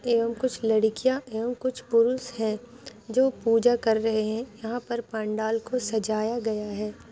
एवम कुछ लड़किया एवम कुछ पुरुष है जो पूजा कर रहे है यहाँ पर पांडाल को सजाया गया है।